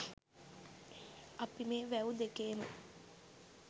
අපි මේ වැව් දෙකේම